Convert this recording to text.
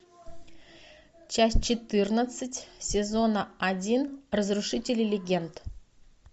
часть четырнадцать сезона один разрушители легенд